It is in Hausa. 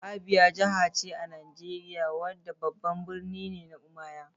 Abia Jiha ce a Najeriya wadda babban birninta ne Umuahia.